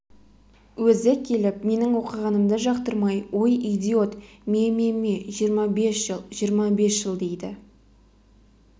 өзі келіп менің оқығанымды жақтырмай ой идиот ме-ме-ме жиырма бес жыл жиырма бес жыл дейді